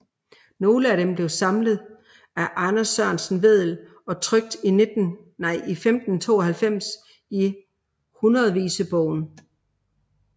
Nogle af dem blev samlet af Anders Sørensen Vedel og trykt i 1592 i Hundredvisebogen